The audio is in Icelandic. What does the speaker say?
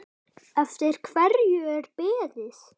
Eftir hverju er beðið?